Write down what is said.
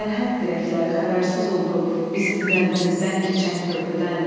Sərhəd dirəkləri xəbərsiz oldu bizim qəlbimizdən keçən körpüdən.